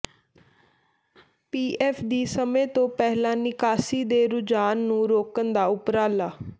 PF ਦੀ ਸਮੇਂ ਤੋਂ ਪਹਿਲਾਂ ਨਿਕਾਸੀ ਦੇ ਰੁਝਾਨ ਨੂੰ ਰੋਕਣ ਦਾ ਉਪਰਾਲਾ